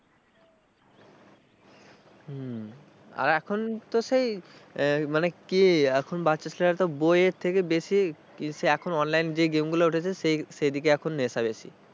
হম আর এখন তো সেই মানে কি এখন বাচ্ছা ছেলে একটা বইয়ের থেকে বেশি সে এখন online যে game গুলো উঠেছে সেই সেদিকে এখন নেশা বেশি।